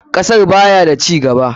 Kasar baya da cigaba.